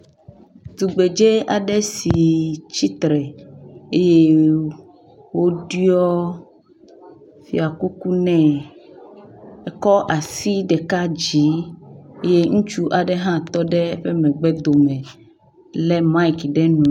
Tugbdze aɖe si tsitre eye woɖiɔ fiakuku nɛ. Ekɔ asi ɖeka dzi ye ŋutsu aɖe hã tɔ ɖe eƒe megbe dome le miki ɖe nu.